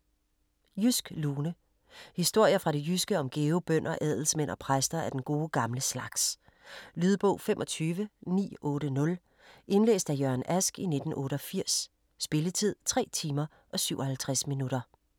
Jysk lune Historier fra det jyske om gæve bønder, adelsmænd og præster af den gode gamle slags. Lydbog 25980 Indlæst af Jørgen Ask, 1988. Spilletid: 3 timer, 57 minutter.